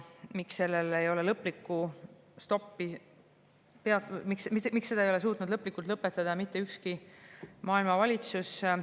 Miks seda ei ole suutnud lõplikult lõpetada mitte ükski maailma valitsus?